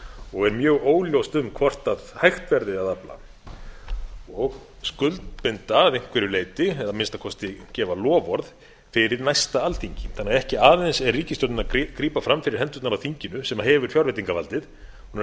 og er mjög óljóst um hvort hægt verði að afla og skuldbinda að einhverju leyti eða að minnsta kosti gefa loforð fyrir næsta alþingi þannig að ekki aðeins er ríkisstjórnin að grípa fram fyrir hendurnar á þinginu sem hefur fjárveitingavaldið hún er að